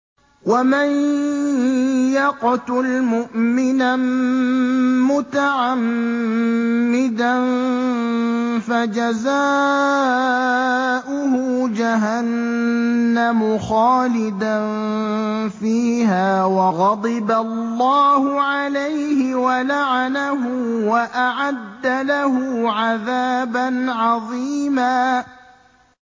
وَمَن يَقْتُلْ مُؤْمِنًا مُّتَعَمِّدًا فَجَزَاؤُهُ جَهَنَّمُ خَالِدًا فِيهَا وَغَضِبَ اللَّهُ عَلَيْهِ وَلَعَنَهُ وَأَعَدَّ لَهُ عَذَابًا عَظِيمًا